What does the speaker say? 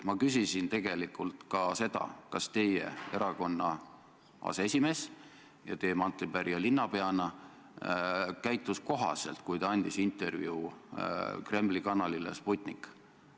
Ma küsisin tegelikult ka seda, kas teie erakonna aseesimees ja teie mantlipärija linnapeana käitus kohaselt, kui ta andis intervjuu Kremli kanalile Sputnik?